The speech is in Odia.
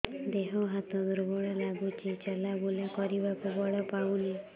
ଦେହ ହାତ ଦୁର୍ବଳ ଲାଗୁଛି ଚଲାବୁଲା କରିବାକୁ ବଳ ପାଉନି